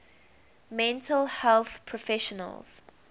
mental health professionals